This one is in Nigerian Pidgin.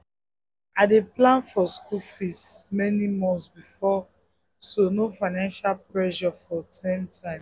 i dey plan for school fees many months before so no financial pressure for term time.